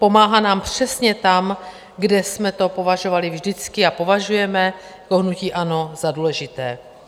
Pomáhá nám přesně tam, kde jsme to považovali vždycky a považujeme jako hnutí ANO za důležité.